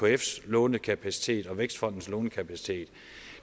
ekfs lånekapacitet og vækstfondens lånekapacitet